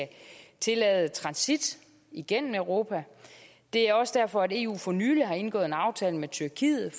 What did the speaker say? tillade transit igennem europa og det er også derfor at eu for nylig har indgået en aftale med tyrkiet